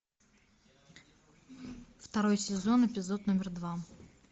второй сезон эпизод номер два